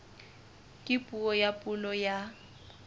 ka puo ya pulo ya